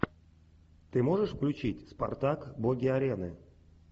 ты можешь включить спартак боги арены